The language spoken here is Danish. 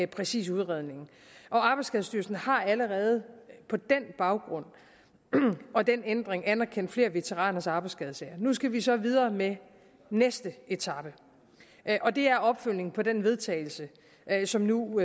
præcis udredningen og arbejdsskadestyrelsen har allerede på baggrund af den ændring anerkendt flere veteraners arbejdsskadesager nu skal vi så videre med næste etape og det er opfølgningen på den vedtagelse som nu